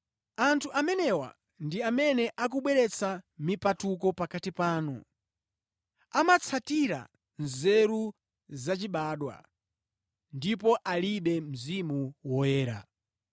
Anthu amenewa ndi amene akubweretsa mipatuko pakati panu, amatsatira nzeru zachibadwa ndipo alibe Mzimu Woyera.